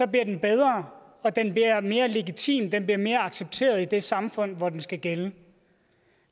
den bedre og mere legitim den bliver mere accepteret i det samfund hvor den skal gælde